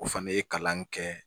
O fana ye kalan in kɛ